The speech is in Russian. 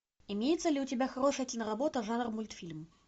имеется ли у тебя хорошая киноработа жанра мультфильм